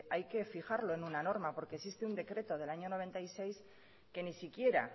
hay que fijarlo en una norma porque existe un decreto del año mil novecientos noventa y seis que ni siquiera